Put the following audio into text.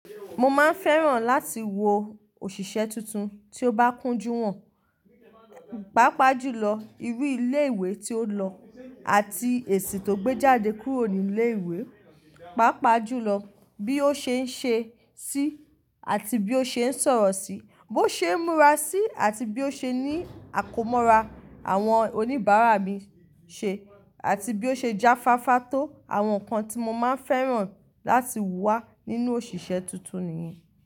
Mo máa ń fẹ́ràn láti wo òṣìṣẹ́ tuntun tí ó bá kúnjú hàn, pàápàá jùlọ irú ilé ìwé tí ó lọ àti èsì tó gbé jáde kúrò ní ilé ìwé, pàápàá jùlọ bí ó ṣe ń ṣe sí àti bí ó ṣe ń sọ̀rọ̀ sí, bó ṣe ń múra sí àti bí ó ṣe ní àkómọra àwọn oníbàárà mi ṣe, àti bí ó ṣe jáfáfá tó àwọn nǹkan tí mo máa ń fẹ́ràn láti wà nínú òṣìṣẹ́ tuntun nìyẹn.